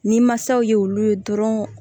Ni masaw ye olu ye dɔrɔn